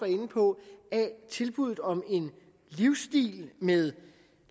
inde på af tilbuddet om en livsstil med